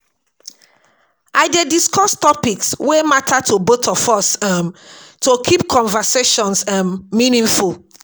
I dey discuss topics wey matter to both of us um to keep conversations um meaningful.